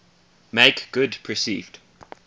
make good perceived